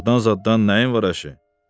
Uşaqdan zaddan nəyin var əşi?